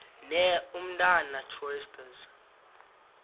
ne umtata choristers